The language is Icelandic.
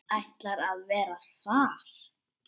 Ætlar að vera þar.